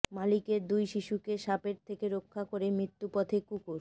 মালিকের দুই শিশুকে সাপের থেকে রক্ষা করে মৃত্যুপথে কুকুর